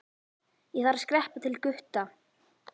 Ég þarf að skreppa til Gutta.